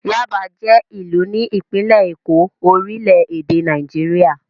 Yáàbá jẹ́ ìlú ní ìpínlẹ̀ Èkó, orílẹ̀-èdè Nàìjíríà.